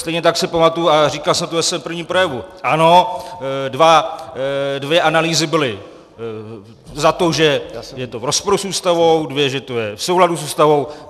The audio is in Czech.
Stejně tak si pamatuji, a říkal jsem to ve svém prvním projevu, ano, dvě analýzy byly za to, že je to v rozporu s Ústavou, dvě, že to je v souladu s Ústavou.